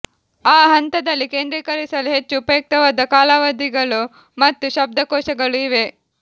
ಆ ಹಂತದಲ್ಲಿ ಕೇಂದ್ರೀಕರಿಸಲು ಹೆಚ್ಚು ಉಪಯುಕ್ತವಾದ ಕಾಲಾವಧಿಗಳು ಮತ್ತು ಶಬ್ದಕೋಶಗಳು ಇವೆ